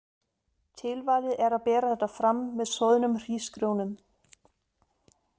Tilvalið er að bera þetta fram með soðnum hrísgrjón um.